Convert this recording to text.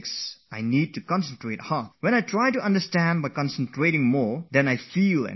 There are occasions when if I have to strain myself to concentrate, I feel an inner stress building up